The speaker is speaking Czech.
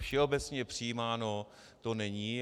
Všeobecně přijímáno to není.